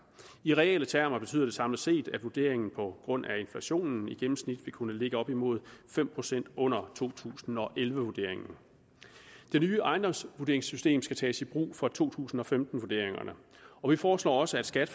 i reelle termer betyder det samlet set at vurderingen på grund af inflationen i gennemsnit vil kunne ligge op mod fem procent under to tusind og elleve vurderingen det nye ejendomsvurderingssystem skal tages i brug for to tusind og femten vurderingerne og vi foreslår også at skat